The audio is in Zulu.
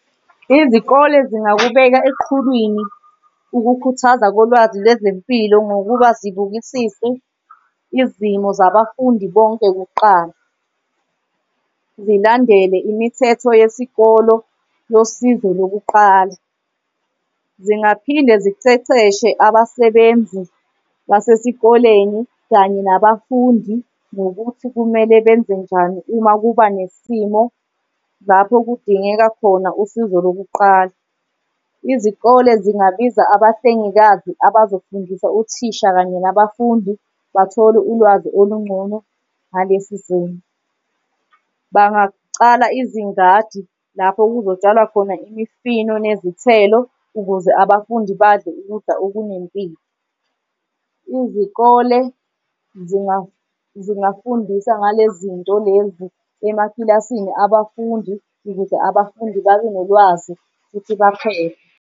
Izikole zingakubeka eqhulwini ukukhuthaza kolwazi lwezempilo, ngokuba zibukisise izimo zabafundi bonke kuqala. Zilandele imithetho yesikolo yosizo lokuqala. Zingaphinde ziceceshe abasebenzi basesikoleni kanye nabafundi ngokuthi kumele benze njani uma kuba nesimo lapho kudingeka khona usizo lokuqala. Izikole zingabiza abahlengikazi abazofundisa othisha kanye nabafundi bathole ulwazi olungcono ngalesi simo. Bangacala izingadi lapho kuzotshalwa khona imifino nezithelo ukuze abafundi badle ukudla okunempilo. Izikole zingafundisa ngalezi zinto lezi emakilasini abafundi ukuze abafundi babe nolwazi futhi baphephe.